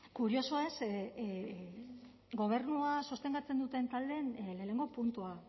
kuriosoa ez ze gobernua sostengatzen duten taldeen lehenengo puntua